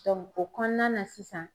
o kɔnɔna na sisan